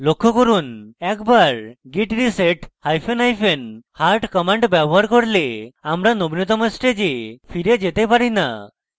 লক্ষ্য করুন একবার git reset hyphen hyphen hard command ব্যবহার করলে আমরা নবীনতম stage ফিরে যেতে পারি so